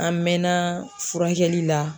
An mɛnna furakɛli la.